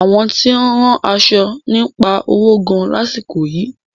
Àwọn tí ó ń rán aṣo ń pa owo gan lásìkò yìí.